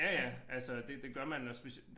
Ja ja altså det det gør man og specielt